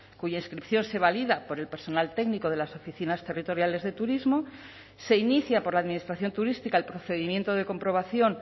cuya inscripción se valida por el personal técnico de las oficinas territoriales de turismo se inicia por la administración turística el procedimiento de comprobación